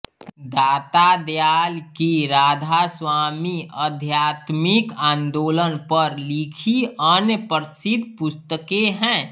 दाता दयाल की राधास्वामी आध्यात्मिक आंदोलन पर लिखी अन्य प्रसिद्ध पुस्तकें हैं